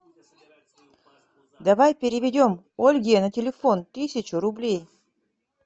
давай переведем ольге на телефон тысячу рублей